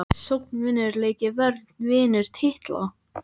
Sókn vinnur leiki vörn vinnur titla???